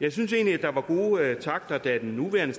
jeg synes egentlig at der var gode takter da den nuværende